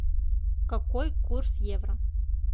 какой курс евро